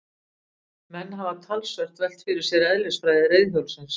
Menn hafa talsvert velt fyrir sér eðlisfræði reiðhjólsins.